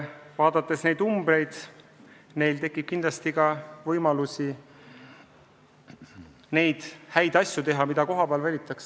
Vaadates neid numbreid, on alust arvata, et neil tekib kindlasti võimalusi teha rohkem häid asju, mida kohapeal vajatakse.